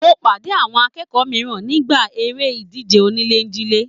Mo pàdé àwọn akẹ́kọ̀ọ́ mìíràn nígbà eré ìdíje onílè jile.